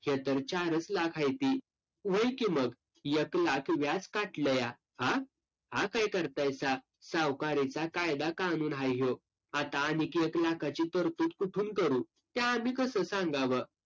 हे तर चारच लाख हायती. व्हय की मग. एक लाख व्याज काटलंया. आ? आ काय करतायसा, सावकारीचा कायदा-कानून हाय ह्यो. आता आणिक एक लाखाची तरतूद कुठून करू? ते आमी कसं सांगावं?